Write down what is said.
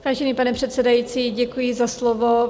Vážený pane předsedající, děkuji za slovo.